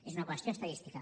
és una qüestió estadística